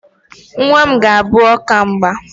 Nnwa m ga-abụ ọkamgba